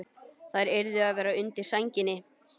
Þær yrðu að vera undir sænginni.